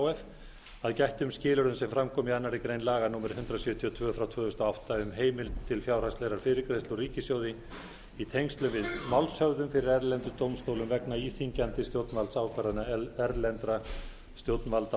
f að gættum skilyrðum sem fram koma í annarri grein laga númer hundrað sjötíu og tvö tvö þúsund og átta um heimild til fjárhagslegrar fyrirgreiðslu úr ríkissjóði í tengslum við málshöfðun fyrir erlendum dómstólum vegna íþyngjandi stjórnvaldsákvarðana erlendra stjórnvalda